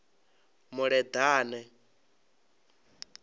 muleḓane